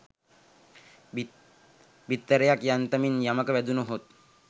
බිත්තරයක් යන්තමින් යමක වැදුණහොත්